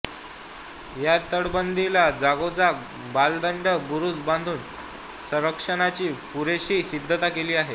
या तटबंदीला जागोजाग बलदंड बुरूज बांधून संरक्षणाची पुरेशी सिद्धता केली आहे